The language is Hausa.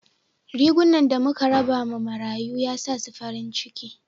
Riguna da muka raba ma marayu ya sa su farin ciki